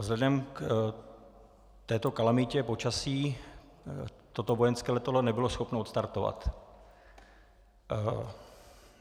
Vzhledem k této kalamitě počasí toto vojenské letadlo nebylo schopno odstartovat.